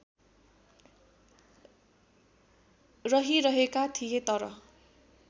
रहिरहेका थिए तर